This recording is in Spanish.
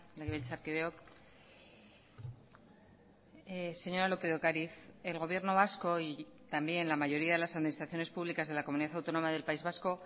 legebiltzarkideok señora lópez de ocariz el gobierno vasco y también la mayoría de las administraciones públicas de la comunidad autónoma del país vasco